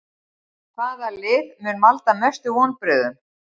Hvaða lið mun valda mestum vonbrigðum?